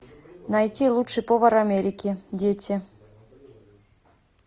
найти лучший повар америки дети